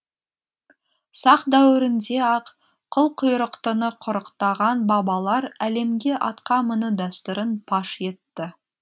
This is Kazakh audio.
сақ дәуірінде ақ қылқұйрықтыны құрықтаған бабалар әлемге атқа міну дәстүрін паш етті